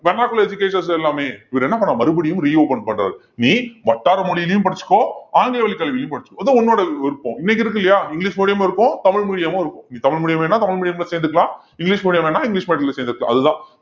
vernacular educations எல்லாமே இவரு என்ன பண்ணாரு மறுபடியும் reopen பண்றாரு நீ வட்டார மொழியிலயும் படிச்சுக்கோ ஆங்கில வழி கல்வியிலயும் படிச்சுக்கோ அது உன்னோட விருப்பம் இன்னைக்கு இருக்கு இல்லையா இங்கிலிஷ் medium உம் இருக்கும் தமிழ் medium உம் இருக்கும் நீ தமிழ் medium வேணும்னா தமிழ் medium ல சேந்துக்கலாம் இங்கிலிஷ் medium வேணும்னா இங்கிலிஷ் medium ல சேந்துக்கலாம் அதுதான்